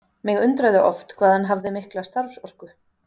Mig undraði oft hvað hann hafði mikla starfsorku.